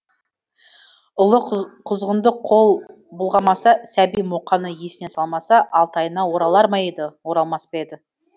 ұлы құзғынды қол бұлғамаса сәби мұқаны есіне салмаса алтайына оралар ма еді оралмас па еді